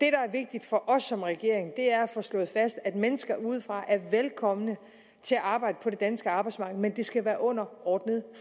er vigtigt for os som regering er at få slået fast at mennesker udefra er velkomne til at arbejde på det danske arbejdsmarked men det skal være under ordnede